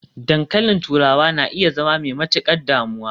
dankalin turawa na iya zama mai matukar damuwa